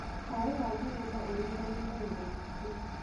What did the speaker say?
Cai wa Kenyatta ũriganĩtie na mũtitũ.